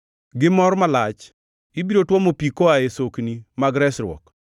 Gi mor malach, ibiro tuomo pi koa e sokni mag resruok.